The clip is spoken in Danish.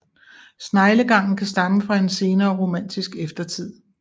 Sneglegangen kan stamme fra en senere romantisk eftertid